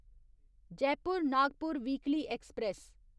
Jaipur Nagpur weekly express